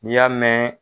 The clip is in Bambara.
N'i y'a mɛn